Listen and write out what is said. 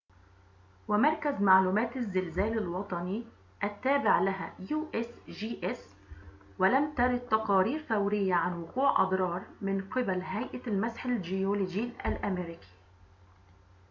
ولم ترد تقارير فورية عن وقوع أضرار من قبل هيئة المسح الجيولوجي الأمريكي usgs ومركز معلومات الزلازل الوطني التابع لها